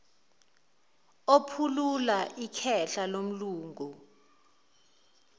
ephulula ikhehla lomlungu